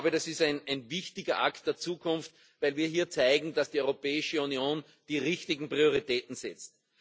Das ist ein wichtiger Akt der Zukunft, weil wir hier zeigen, dass die Europäische Union die richtigen Prioritäten setzt.